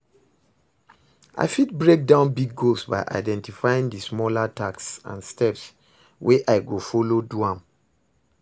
i fit break down big goals by identifying di smaller tasks and steps wey i go follow do am.